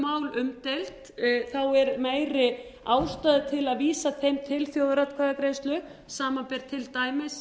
umdeild er meiri ástæða til að vísa þeim til þjóðaratkvæðagreiðslu samanber til dæmis